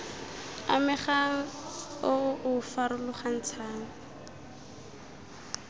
amegang o o o farologantshang